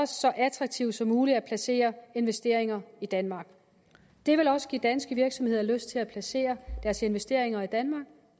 så attraktivt som muligt at placere investeringer i danmark det vil også give danske virksomheder lyst til at placere deres investeringer i danmark